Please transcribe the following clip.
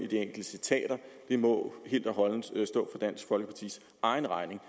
i må helt og holdent stå dansk folkepartis egen regning